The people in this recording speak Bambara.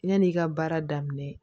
Yan'i ka baara daminɛ